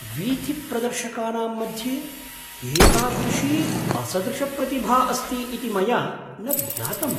वीथिप्रदर्शकानां मध्ये एतादृशी असदृशप्रतिभा अस्ति इति मया न ज्ञातम्।